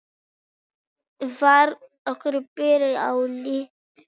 Var ákvörðunin byggð á áliti